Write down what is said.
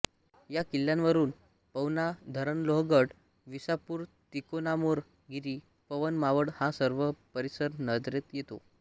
या किल्ल्यावरून पवना धरणलोहगड विसापूरतिकोणामोरगिरी पवन मावळ हा सर्व परिसर नजरेत येतो